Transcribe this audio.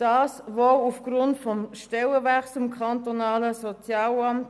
Dies wohl aufgrund des Stellenwechsels im kantonalen Sozialamt.